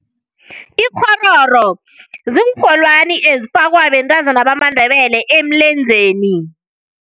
Ikghororo ziinrholwani ezifakwa bentazana bamaNdebele emlenzeni.